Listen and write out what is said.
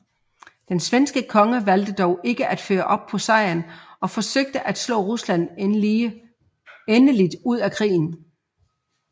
Den svenske konge valgte dog ikke at følge op på sejren og forsøge at slå Rusland endeligt ud af krigen